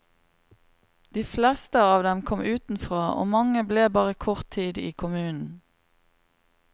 De fleste dem kom utenfra, og mange ble bare kort tid i kommunen.